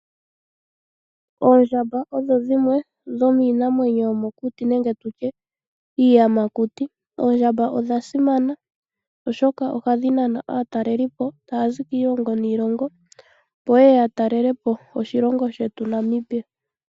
Oondjamba odho dhimwe dhomiinamwenyo yomokuti nenge tu tye iiyamakuti. Oondjamba odha simana oshoka ohadhi nana aatalelelipo taya zi kiilongo niilongo opo ye ye yatalele po oshilongo shetu Namibia.